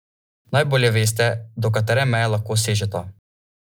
Najbolje veste, do katere meje lahko sežeta.